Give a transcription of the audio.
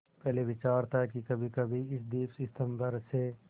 पहले विचार था कि कभीकभी इस दीपस्तंभ पर से